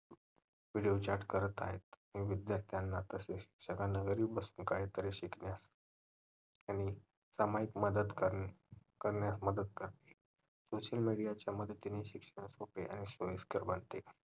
video chat करत आहेत विद्यार्थ्यांना पण तसेच घरी बसून काही तरी शिकण्यास मदत सामायिक मदत करणे करण्यास मदत करते social media च्या मदतीने शिक्षण सोपे आणि सोयिस्कर बनते